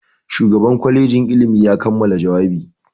Shugan kwalejin ilimi ya kammala jawabi.